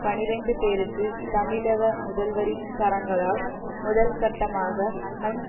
பனிரண்டு பேருக்கு தமிழக முதல்வரின் கரங்களால் முதல்கட்டமாக முன்